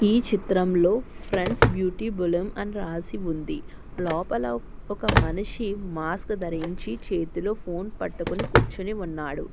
ఈ చిత్రంలో friends beauty బలుమ్ అని రాసి ఉంది లొపల ఒక మనిషి మాస్క్ ధరించి చేతిలో ఫోన్ పట్టుకుని కూర్చొని ఉన్నాడు.